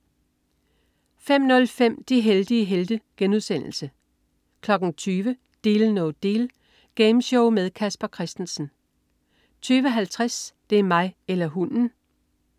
05.05 De heldige helte* 20.00 Deal No Deal. Gameshow med Casper Christensen 20.50 Det er mig eller hunden!